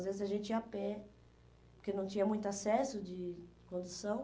Às vezes, a gente ia a pé, porque não tinha muito acesso de condução.